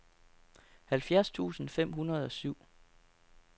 halvfjerds tusind fem hundrede og syv